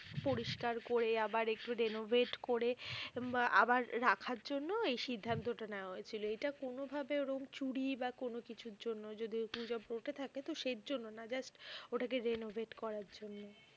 পরিস্কার করে আবার একটু renovate করে বা আবার রাখার জন্য এই সিদ্ধান্তটা নেয়া হয়েছিল। এটা কোনোভাবে ওরম চুরি বা কোনোকিছুর জন্য নয় যদি গুজব রটে থাকে তোহ সেজন্য না just ওটাকে renovate করার জন্য।